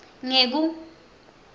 ngeku